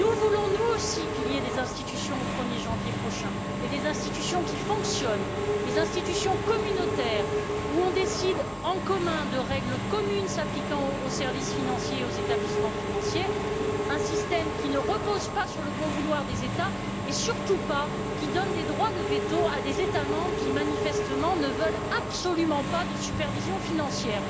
Nous voulons nous aussi qu'il y ait des institutions au 1er janvier prochain, mais des institutions qui fonctionnent, des institutions communautaires où on décide en commun de règles communes s'appliquant aux services financiers et aux établissements financiers, un système qui ne repose pas sur le bon vouloir des États et surtout pas un système qui donne des droits de veto à des États membres qui, manifestement, ne veulent absolument pas de supervision financière.